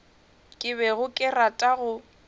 ke bego ke rata go